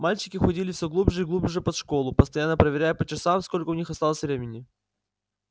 мальчики уходили все глубже и глубже под школу постоянно проверяя по часам сколько у них осталось времени